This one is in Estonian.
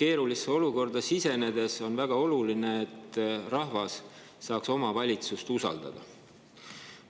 keerulisse olukorda sisenedes on väga oluline, et rahvas saaks oma valitsust usaldada.